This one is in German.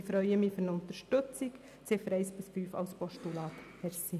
Ich freue mich, über eine Unterstützung, die Ziffern 1 bis 5 als Postulat zu überweisen.